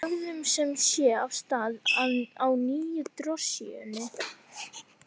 Við lögðum sem sé af stað á nýju drossíunni.